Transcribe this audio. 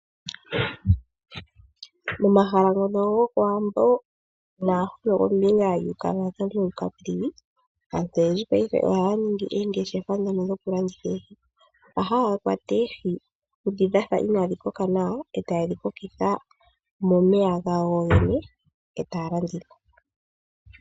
Momahala gokoWambo no kombinga yoKavango no Caprivi aantu oyendji paife ohaya ningi oongeshefa dhono dhokulanditha oohi ,haya kwata oohi dhoka dhafa ina dhi koka nawa eta ye dhi kokitha momeya gawo yoyene eta ya landitha.